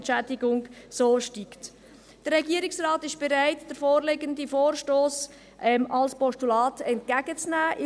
Der Regierungsrat ist bereit, den vorliegenden Vorstoss als Postulat entgegenzunehmen.